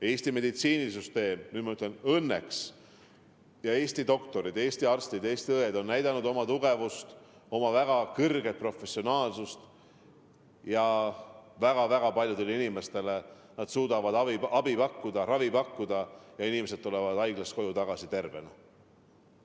Eesti meditsiinisüsteem – nüüd ma ütlen "õnneks" – ja Eesti doktorid, Eesti arstid ja õed on näidanud oma tugevust, oma väga kõrget professionaalsust ja väga-väga paljudele inimestele nad suudavad abi pakkuda, ravi pakkuda ja inimesed tulevad haiglast koju tagasi tervena.